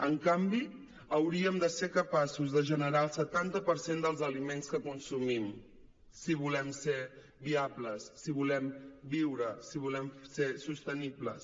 en canvi hauríem de ser capaços de generar el setanta per cent dels aliments que consumim si volem ser viables si volem viure si volem ser sostenibles